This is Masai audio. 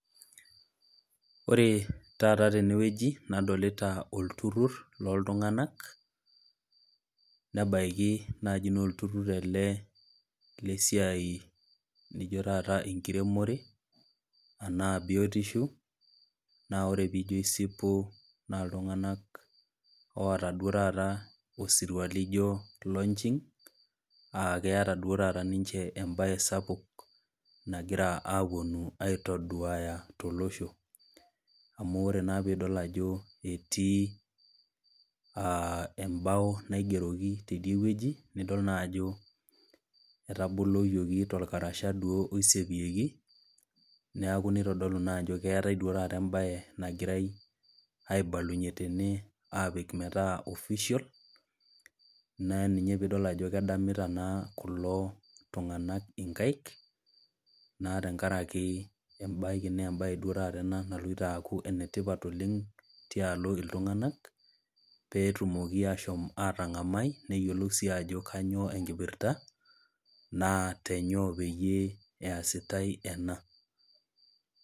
Ore taata tenewueji, nadolita olturur loltung'ana nebaiki naaji naa olturur ele lesiai laijo taata olenkiremore, anaa biotisho naa ijo ore isipu naa iltung'anak laata duo taata osirua loijo launching, aa keata duo taata ninche embaye sapuk nagira apuonu aitudulu tolosho amu ore naa piidol ajo etii embao naigeroki teidie wueji, nidol naa ajo etaboloyioki tolkarasha duo aisiepieki, neaaku neitodolu naa duo taata embaye nagirai aibalunye tene aapik metaa official naa ina pee idol ajo edamita naa kulo tung'ana inkaik, naa tenkaraki embaye naa duo taata naloito tenkaraki eloito aaku ene tipat oleng' tialo iltung'anak peetumoki ashom atang'amai, neyiolou sii ajo kaa enkipirta naa tenyoo peyie easitai ena .